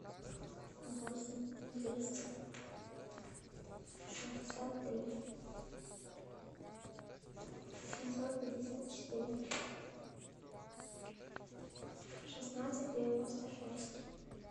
восемь двести шестьдесят три семьсот пятьдесят четыре шестнадцать девяносто шесть